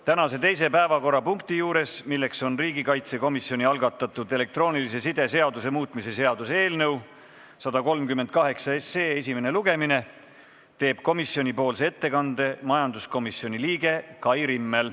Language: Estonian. Tänase teise päevakorrapunkti juures, milleks on riigikaitsekomisjoni algatatud elektroonilise side seaduse muutmise seaduse eelnõu 138 esimene lugemine, teeb komisjonipoolse ettekande majanduskomisjoni liige Kai Rimmel.